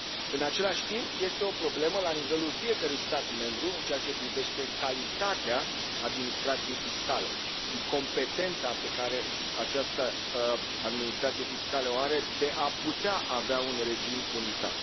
În același timp, este o problemă la nivelul fiecărui stat membru în ceea ce privește calitatea administrației fiscale și competența pe care această administrație fiscală o are de a putea avea un regim unitar.